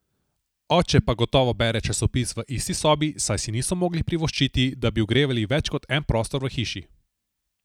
Oče pa gotovo bere časopis v isti sobi, saj si niso mogli privoščiti, da bi ogrevali več kot en prostor v hiši.